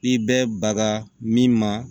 I bɛ baga min ma